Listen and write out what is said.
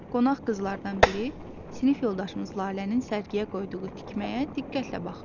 Qonaq qızlardan biri sinif yoldaşımız Lalənin sərgiyə qoyduğu tikməyə diqqətlə baxırdı.